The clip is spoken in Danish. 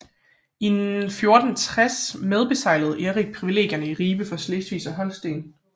I 1460 medbeseglede Erik privilegierne i Ribe for Slesvig og Holsten